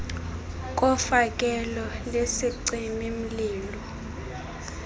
kofakelo lwesicimi mlilo